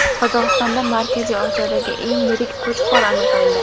Qozog‘istonda Markaziy Osiyodagi eng yirik qo‘chqor aniqlandi .